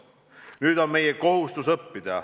Nüüd on meie kohustus õppida.